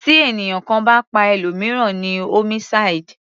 Tí ènìyàn kan bá pa ẹlòmìíràn ni homicide.